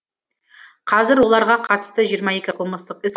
қазір оларға қатысты жиырма екі қылмыстық іс